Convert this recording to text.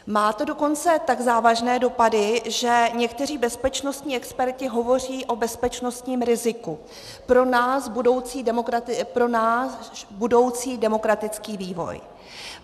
Má to dokonce tak závažné dopady, že někteří bezpečnostní experti hovoří o bezpečnostním riziku pro náš budoucí demokratický vývoj.